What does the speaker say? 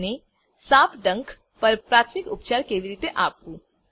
અને સાપ ડંખ પર પ્રાથમિક ઉપચાર કેવી રીતે આપવું